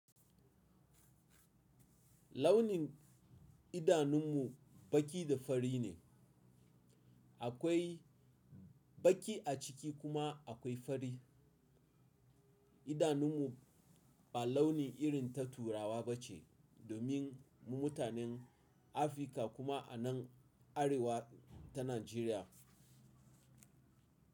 Launin idanun mu baki da fari ne. Akwai baki a ciki kuma akwai fari. Idanun mu ba launi irin ta turawa ba ce domin mu mutanen Afirka kuma a nan arewa ta Najeriya.